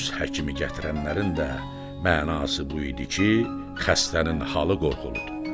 öz həkimi gətirənlərin də mənası bu idi ki, xəstənin halı qorxuludur.